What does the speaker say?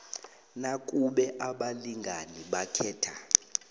nakube abalingani bakhetha